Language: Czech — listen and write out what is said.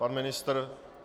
Pan ministr.